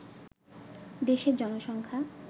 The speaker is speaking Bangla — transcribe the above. দেশের জনসংখ্যা